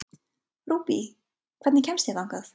Rúbý, hvernig kemst ég þangað?